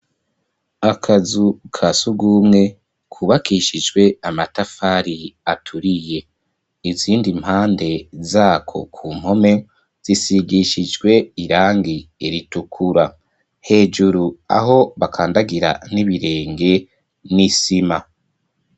Akazu ka surwumwe, kubakishijwe amatafari, aturiye; izindi mpande zako, ku mpome, zisigishijwe irangi ritukura; hejuru, aho bakandagira, n'ibirenge, ni isima.